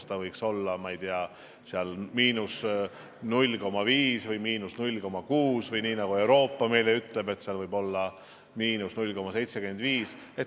Et seal võiks olla –0,5 või –0,6 või nii, nagu Euroopa meile ütleb, et see võib olla –0,75.